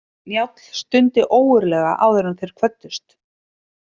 Njáll stundi ógurlega áður en þeir kvöddust.